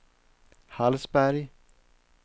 Hallsberg